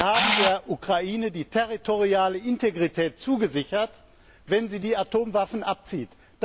Sie haben der Ukraine die territoriale Integrität zugesichert, wenn sie die Atomwaffen abzieht.